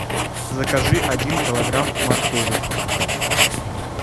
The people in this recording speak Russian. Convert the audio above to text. закажи один килограмм моркови